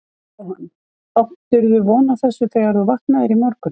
Jóhann: Áttirðu von á þessu þegar þú vaknaðir í morgun?